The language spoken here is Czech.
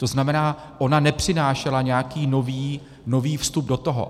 To znamená ona nepřinášela nějaký nový vstup do toho.